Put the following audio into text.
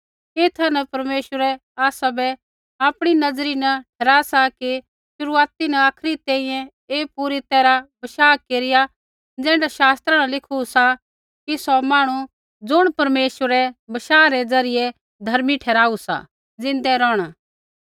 एथा न परमेश्वर आसाबै आपणी नज़री न सही ठहरा सा कि शुरुआती न आखरी तैंईंयैं ऐ पूरी तैरहा बशाह केरिया ज़ैण्ढा शास्त्रा न लिखू सा कि सौ मांहणु ज़ुणियै परमेश्वरै बशाह रै ज़रियै धर्मी ठहराऊ सा ज़िंदै रोहणा